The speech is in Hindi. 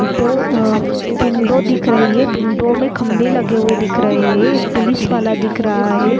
दो आ विंडो दिख रही है विंडो मे खंभे लगे हुए है दिख रहे है एक पुलिस वाला दिख रहा है।